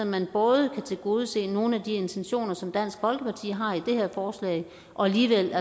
man både kan tilgodese nogle af de intentioner som dansk folkeparti har i det her forslag og alligevel